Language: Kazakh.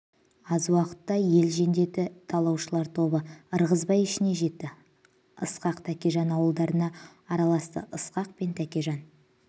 аз уақытта ел жендеті талаушылар тобы ырғызбай ішіне жетті ысқақ тәкежан ауылдарына араласты ысқақ пен тәкежан